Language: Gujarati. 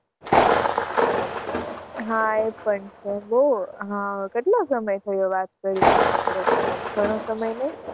હાં એ પણ છે બહુ હાં કેટલો સમય થયો વાત કરી એને આપણે? ઘણો સમય નહીં.